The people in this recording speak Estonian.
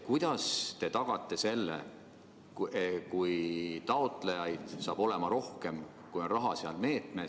Kuidas te selle ikkagi tagate, kui taotlejaid saab olema rohkem, kui on raha selles meetmes?